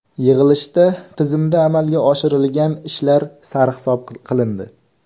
Yig‘ilishda tizimda amalga oshirilgan ishlar sarhisob qilindi.